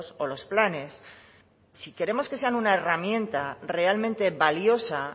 o los planes si queremos que sea una herramienta realmente valiosa